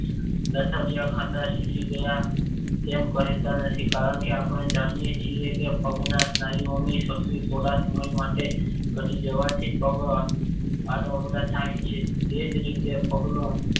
લથડીયા ખાતા શીખી ગયા. એમ કહેતા નથી. કારણ કે આપણે જાણીએ છીએ કે પગના સ્નાયુઓની શક્તિ થોડાક સમય માટે વધી જવાથી પગ આડાઅવળા થાય છે. એ જ રીતે પગનો